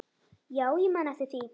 Já, ég man eftir því.